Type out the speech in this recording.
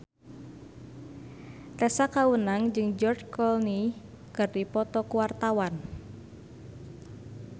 Tessa Kaunang jeung George Clooney keur dipoto ku wartawan